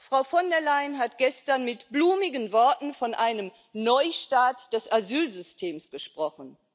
Frau von der Leyen hat gestern mit blumigen Worten von einem Neustart des Asylsystems gesprochen.